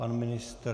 Pan ministr?